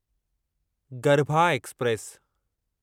garba express